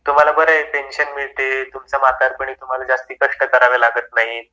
तुम्ह्ला बारा आहे पेन्शन मिळते तुम्हला तुमचा म्हातारपणी खूप जास्त कष्ट करावे लागत नाही